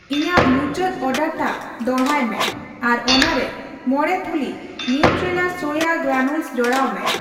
ᱤᱧᱟᱹᱜ ᱢᱩᱪᱟᱹᱫ ᱚᱨᱰᱟᱨᱴᱟᱜ ᱫᱚᱲᱦᱟᱭ ᱢᱮ ᱟᱨ ᱚᱱᱟᱨᱮ ᱢᱚᱲᱮ ᱛᱷᱩᱞᱤ ᱱᱟᱴᱨᱮᱞᱟ ᱥᱚᱭᱟ ᱜᱨᱟᱱᱩᱞᱚᱥ ᱡᱚᱲᱟᱣ ᱢᱮ ᱾